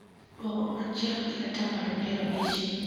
Duok dwol chiel gi atamalo piero abich